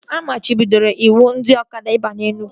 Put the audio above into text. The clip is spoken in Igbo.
A machibidoro ịwụ ndị ọkada ịgba na Enugwu